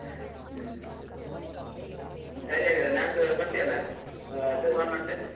ಹ್ಮ್ ಸರಿ ಹಾಗಾದ್ರೆ ನಾಡ್ದು ಬರ್ತಿಯಲ್ಲಾ ಮಾಡ್ತೇನೆ.